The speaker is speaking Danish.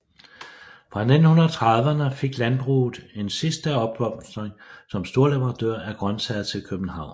Fra 1930erne fik landbruget en sidste opblomstring som storleverandører af grøntsager til København